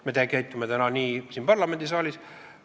Me käitume täna nii ka siin parlamendisaalis.